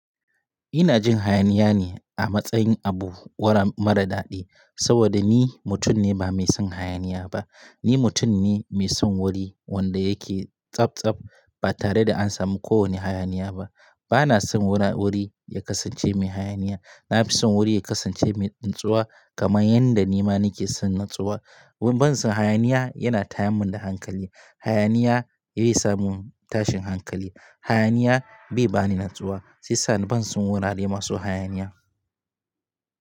Ina jin hayaniya ne a matsayin abu mara daɗi saboda ni mutum ne ba mai son hayaniya ba. Ni mutum ne mai son wuri wanda yake tsabtsab ba tare da an samu kowane hayaniya ba. Bana son wura wuri ya kasance mai hayaniya. Na fi son wuri ya kasance mai natsuwa kamar yadda nima nake son natsuwa. Ban son hayaniya yana taya mun da hankali. Hayaniya yai sa mun tashin hankali. Hayaniya bai bani natsuwa sai sani ban son wurare masu hayaniya.